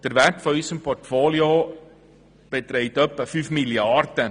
Der Wert unseres Portfolios beträgt etwa 5 Mrd. Franken.